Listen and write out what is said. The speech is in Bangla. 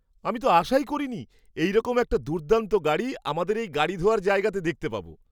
আমি তো আশাই করিনি এইরকম একটা দুর্দান্ত গাড়ি আমাদের এই গাড়ি ধোয়ার জায়গাতে দেখতে পাবো!